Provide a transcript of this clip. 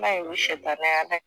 I ma ye u shetanɛ ala ye.